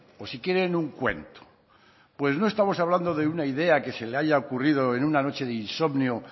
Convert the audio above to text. o si quieren un cuento pues no estamos hablando de una idea que se le haya ocurrido en una noche de insomnio